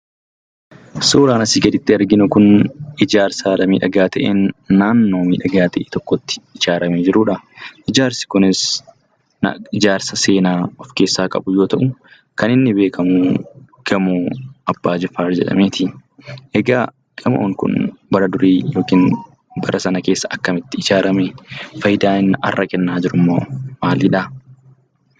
Suuraan asii gaditti arginu kun ijaarsa haala miidhagaa ta'een naannoo miidhagaa ta'e tokkotti ijaaramee jiruudha. Ijaarsi kunis ijaarsa seenaa of keessaa qabu yoo ta'u, kan inni beekamu Gamoo Abbaa Jifaar jedhameeti. Egaa gamoon kun bara durii yookiin bara sana keessa akkamitti ijaarame? Faayidaan inni har'a kennaa jirummoo maalidha?